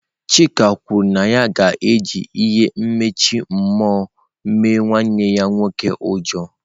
Chika kwuru na ya ga-eji ihe mkpuchi mmụọ mee nwanne ya nwoke ụjọ.